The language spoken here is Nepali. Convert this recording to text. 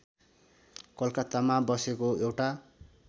कलकत्तामा बसेको एउटा